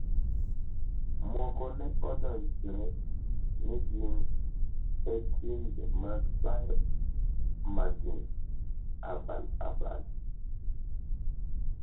moko ne odonjre ni gin e timbe mag bayo magina abal abal